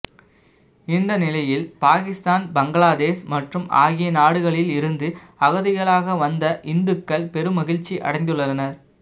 இந்த நிலையில் பாகிஸ்தான் பங்களாதேஷ் மற்றும் ஆகிய நாடுகளில் இருந்து அகதிகளாக வந்த இந்துக்கள் பெரும் மகிழ்ச்சி அடைந்துள்ளனர்